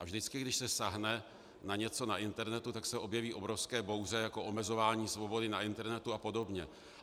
A vždycky, když se sáhne na něco na internetu, tak se objeví obrovské bouře, jako omezování svobody na internetu a podobně.